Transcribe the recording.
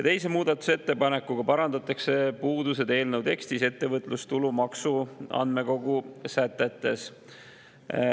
Teise muudatusettepanekuga parandatakse puudused eelnõu tekstis ettevõtlustulumaksu andmekogu sätetes.